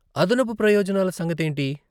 అదనపు ప్రయోజనాల సంగతేంటి?